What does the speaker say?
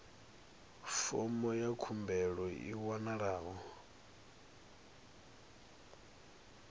fomo ya khumbelo i wanalaho